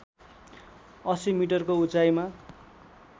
८० मिटरको उचाइमा